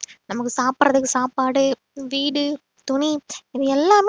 நமக்கு சாப்பிடறதுக்கு சாப்பாடு வீடு துணி இது எல்லாமே